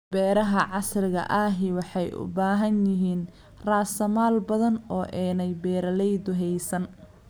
Beeraha casriga ahi waxay u baahan yihiin raasamaal badan oo aanay beeralaydu haysan.